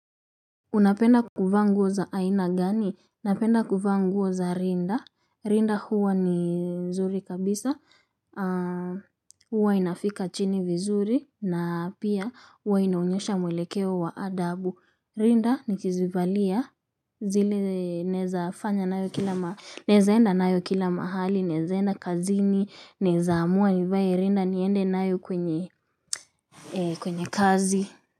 Unapenda kuvaa nguo za aina gani? Napenda kuvaa nguo za rinda, rinda huwa ni mzuri kabisa huwa inafika chini vizuri na pia huwa inaonyesha mwelekeo wa adabu rinda nikizivalia zile naweza fanya nayo kila, naweza enda nayo kila mahali, naweza enda kazini naweza amua nivae rinda niende nayo kwenye kwenye kazi.